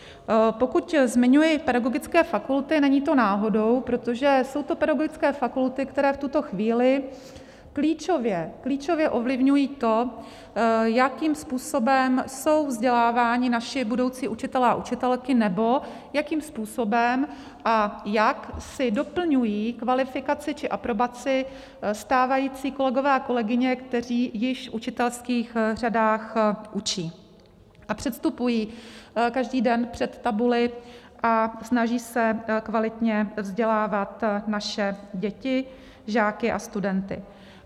Pokud zmiňuji pedagogické fakulty, není to náhodou, protože jsou to pedagogické fakulty, které v tuto chvíli klíčově ovlivňují to, jakým způsobem jsou vzděláváni naši budoucí učitelé a učitelky nebo jakým způsobem a jak si doplňují kvalifikaci či aprobaci stávající kolegové a kolegyně, kteří již v učitelských řadách učí a předstupují každý den před tabuli a snaží se kvalitně vzdělávat naše děti, žáky a studenty.